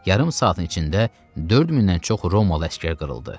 Yarım saatın içində 4 mindən çox Roma əsgər qırıldı.